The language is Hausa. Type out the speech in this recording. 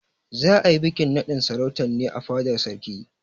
Za a yi bikin naɗin sarautar ne a fadar sarki.